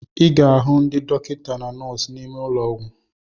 I ga-ahu ndị dọkịta na nọọsụ n'ime ụlọ ọgwụ.